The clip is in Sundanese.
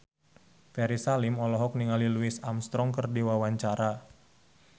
Ferry Salim olohok ningali Louis Armstrong keur diwawancara